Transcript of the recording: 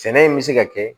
Sɛnɛ in bɛ se ka kɛ